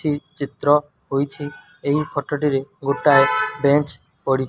ଚି ଚିତ୍ର ହୋଇଛି ଏହି ଫଟ ଟିରେ ଗୋଟାଏ ବେଞ୍ଚ୍ ପଡି --